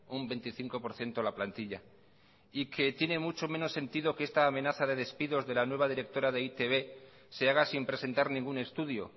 un veinticinco por ciento la plantilla y que tiene mucho menos sentido que esta amenaza de despidos de la nueva directora de e i te be se haga sin presentar ningún estudio